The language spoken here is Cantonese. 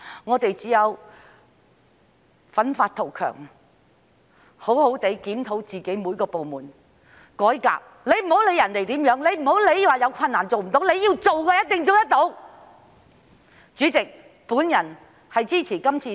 我們只要發奮圖強，好好檢討各部門並進行改革，別管別人怎樣做，也不要因為有困難便說做不到，要做的話一定做得到的。